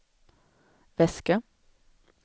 väska